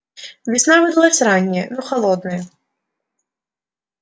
весна выдалась ранняя но холодная